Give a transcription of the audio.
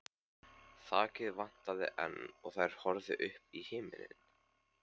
Þakið vantaði enn og þær horfðu upp í himininn.